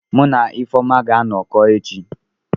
Mu na Ifeoma ga-anọkọ echi.